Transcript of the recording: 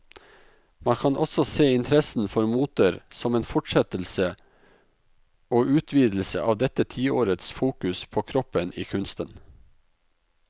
Man kan også se interessen for moter som en fortsettelse og utvidelse av dette tiårets fokus på kroppen i kunsten.